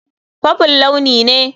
Purple launi ne.